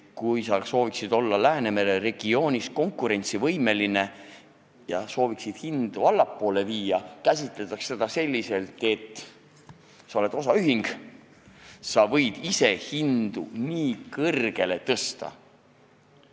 Kui sa sooviksid olla Läänemere regioonis konkurentsivõimeline ja tahaksid hindu allapoole viia, siis nagu käsitataks seda selliselt, et sa oled osaühing ja võid hindu nii kõrgele tõsta.